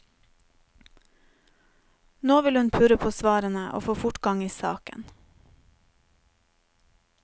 Nå vil hun purre på svarene og få fortgang i saken.